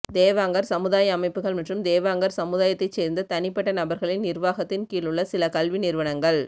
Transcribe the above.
தேவாங்கர் சமுதாய அமைப்புகள் மற்றும் தேவாங்கர் சமுதாயத்தைச் சேர்ந்த தனிப்பட்ட நபர்களின் நிர்வாகத்தின் கீழுள்ள சில கல்வி நிறுவனங்கள்